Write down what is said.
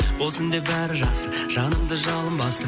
болсын деп бәрі жақсы жанымды жалын басты